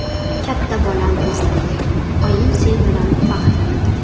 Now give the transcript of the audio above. Katta bolam o‘zimning, oying sen bilan faxrlanadi.